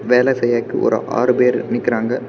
வேல செய்யக் ஒரு ஆறு பேரு நிக்கிறாங்க.